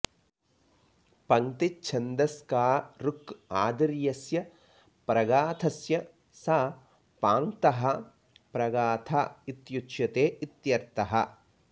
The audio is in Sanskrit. पङ्क्तिच्छन्दस्का ऋक् आदिर्यस्य प्रघाथस्य स पाङ्क्तः प्रगाथ इत्युच्यते इत्यर्थः